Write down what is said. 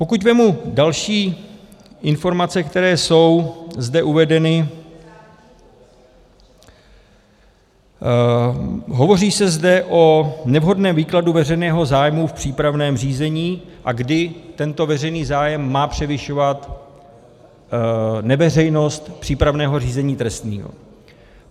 Pokud vezmu další informace, které jsou zde uvedeny, hovoří se zde o nevhodném výkladu veřejného zájmu v přípravném řízení, a kdy tento veřejný zájem má převyšovat neveřejnost přípravného řízení trestního.